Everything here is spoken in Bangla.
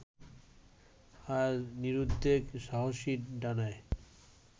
আজ নিরুদ্বেগ সাহসী ডানায়